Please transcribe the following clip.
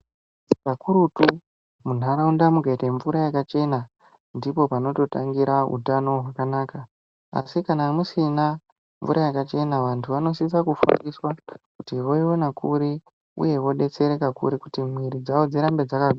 Kakurutu munharaunda mukaita mvura yakachena ndipo panototangira utano hwakanaka asi kana musina mvura yakachena vantu vanosisa kufundiswa kuti voiona kuri kuti mwiira dzavo dzirambe dzakagwinya.